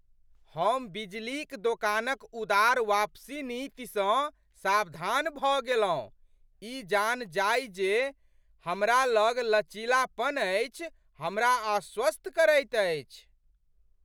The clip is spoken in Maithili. हम बिजलीक दोकानक उदार वापसी नीतिसँ सावधान भऽ गेलहुँ, ई जाननाइ जे हमरा लग लचीलापन अछि हमरा आश्वस्त करैत अछि।